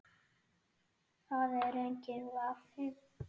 Það er enginn vafi.